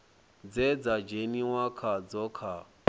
dze dza dzheniwa khadzo kha